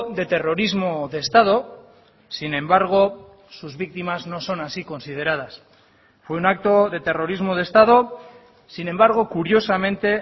de terrorismo de estado sin embargo sus víctimas no son así consideradas fue un acto de terrorismo de estado sin embargo curiosamente